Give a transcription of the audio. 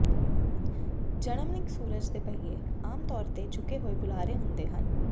Germanic ਸੂਰਜ ਦੇ ਪਹੀਏ ਆਮ ਤੌਰ ਤੇ ਝੁਕੇ ਹੋਏ ਬੁਲਾਰੇ ਹੁੰਦੇ ਹਨ